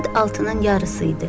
Saat altının yarısı idi.